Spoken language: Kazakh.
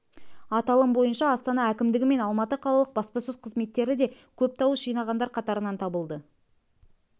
аталым бойынша астана әкімдігі мен алматы қалалық баспасөз қызметтері де көп дауыс жинағандар қатарынан табылды